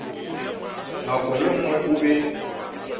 nako ye nngwe o be